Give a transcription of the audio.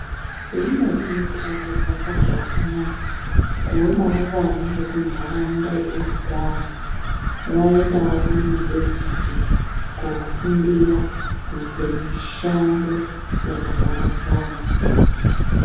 Zvinodini kudakadza kwazvo amunayi kuonawo vana vekuntharaunda yeunogara vaendawo kuyunivhesiti kofundira koite mishando yakaparadzana.